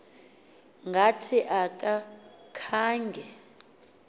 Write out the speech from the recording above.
ngathi aka khanga